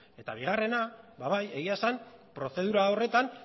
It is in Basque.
eta bigarrena ba bai egia esan prozedura horretan